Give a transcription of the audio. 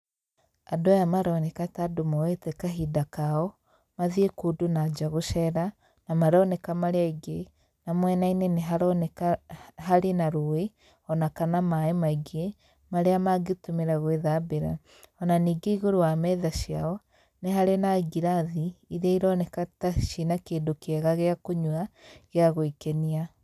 Andũ aya maroneka ta andũ moete kahinda kao, mathiĩ kũndũ nanja gũcera, na maroneka marĩ aingĩ. Na mwena-inĩ haroneka harĩ na rũĩ ona kana maĩ maingĩ marĩa mangitũmĩra gwĩthambĩra. Ona ningĩ igũrũ wa metha ciao nĩ harĩ na ngirathi, iria ironeka ta ciĩna kĩndũ kĩega gĩa kũnyua gĩa gwĩkenia.